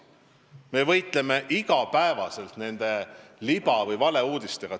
Terves maailmas võideldakse iga päev liba- või valeuudistega.